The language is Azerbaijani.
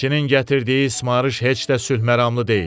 Elçinin gətirdiyi ismarış heç də sülhməramlı deyil.